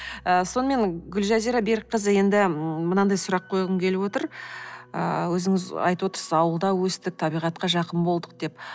ыыы сонымен гүлжазира берікқызы енді ы мынандай сұрақ қойғым келіп отыр ыыы өзіңіз айтып отырсыз ғой ауылда өстік табиғатқа жақын болдық деп